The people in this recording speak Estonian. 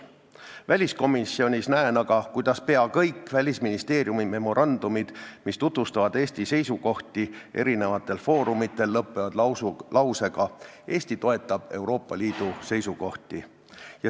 Väliskomisjonis näen aga, kuidas pea kõik Välisministeeriumi memorandumid, mis tutvustavad Eesti seisukohti eri foorumitel, lõpevad lausega "Eesti toetab Euroopa Liidu seisukohti".